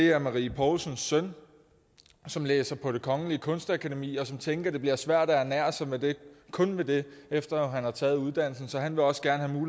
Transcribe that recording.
er marie poulsens søn som læser på det kongelige danske kunstakademi og som tænker at det bliver svært at ernære sig kun ved det efter at han har taget uddannelsen så han vil også gerne